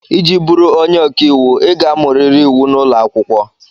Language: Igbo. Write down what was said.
Iji bụrụ onye ọka iwu, ị ga-amụrịrị iwu n'ụlọ akwụkwọ.